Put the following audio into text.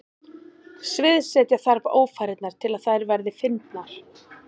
Sviðsetja þarf ófarirnar til að þær verði fyndnar.